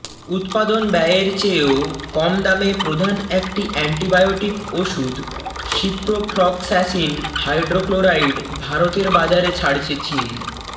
উৎপাদন ব্যয়ের চেয়েও কম দামে প্রধান একটি অ্যান্টিবায়োটিক ওষুধ সিপ্রোফ্লক্স্যাসিন হাইড্রোক্লোরাইড ভারতের বাজারে ছাড়ছে চীন